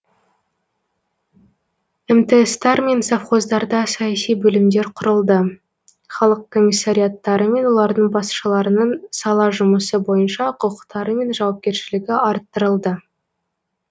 мтс тар мен совхоздарда саяси бөлімдер құрылды халық комиссариаттары мен олардың басшыларының сала жұмысы бойынша құқықтары мен жауапкершілігі арттырылды